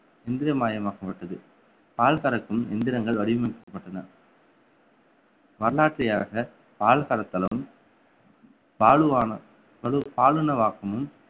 இந்திரமயமாக்கப்பட்டது பால் கறக்கும் எந்திரங்கள் வடிவமைக்கப்பட்டன வரலாற்றையாக பால் கறத்தலும் பாலுவான~ பழு~ பாலுணவாக்கமும்